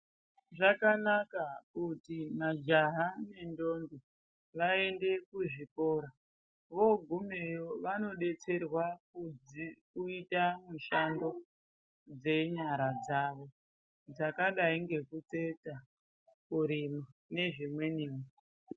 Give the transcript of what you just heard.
Zvakanaka kuti majaha nendombi vaende kuzvikora. Vogumeyo vanobetserwa kuita mishando dzenyara dzavo dzakadai ngekutsetsa, kurima nezvimwenivo.